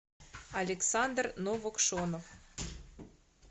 александр новокшонов